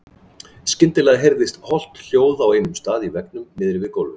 Skyndilega heyrðist holt hljóð á einum stað í veggnum niðri við gólfið.